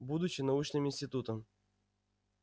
будучи научным институтом